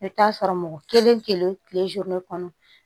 I bɛ t'a sɔrɔ mɔgɔ kelen kelen kɔnɔ